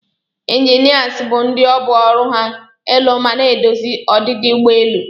Inginias bu ndi obu ọrụ ha ilụ mana edozi odidi ụgbọ elụ.